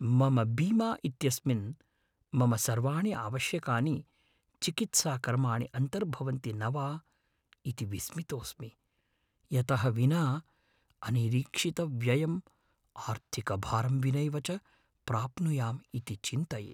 मम बीमा इत्यस्मिन् मम सर्वाणि आवश्यकानि चिकित्साकर्माणि अन्तर्भवन्ति न वा इति विस्मितोऽस्मि । यतः विना अनिरीक्षितव्ययम् आर्थिकभारं विनैव च प्राप्नुयाम् इति चिन्तये।